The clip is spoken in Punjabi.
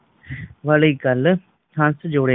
ਵਾਲੀ ਗੱਲ ਹੰਸ ਜੋੜੇ